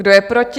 Kdo je proti?